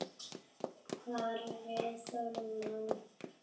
Kári Þormar.